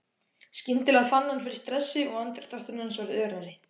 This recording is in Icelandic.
Skyndilega fann hann fyrir stressi og andardráttur hans varð örari.